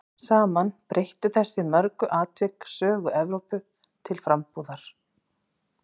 Saman breyttu þessi mörgu atvik sögu Evrópu til frambúðar.